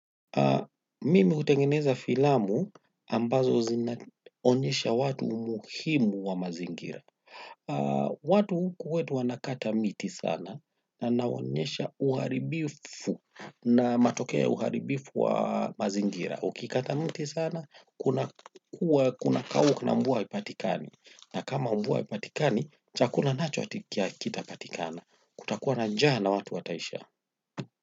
Mimi hutengeneza filamu ambazo zinaonyesha watu umuhimu wa mazingira. Watu huku kwetu wanakata miti sana na naonyesha uharibifu na matokea ya uharibifu wa mazingira. Ukikata miti sana, kuna kuwa kuna kauka na mvua haipatikani. Na kama mvua haipatikani, chakula nacho hakitapatikana kutakuwa na njaa na watu wataisha.